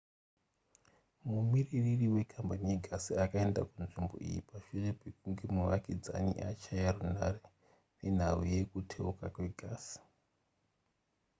mumiririri wekambani yegasi akaenda kunzvimbo iyi pashure pekunge muvakidzani achaya runhare nenhau yekuteuka kwegasi